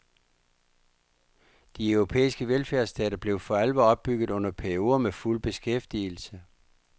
De europæiske velfærdsstater blev for alvor opbygget under perioder med fuld beskæftigelse.